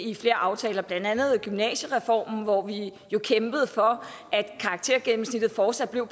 i flere aftaler blandt andet gymnasiereformen hvor vi jo kæmpede for at karaktergennemsnittet fortsat var